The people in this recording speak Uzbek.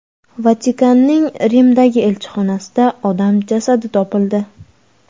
Vatikanning Rimdagi elchixonasida odam jasadi topildi.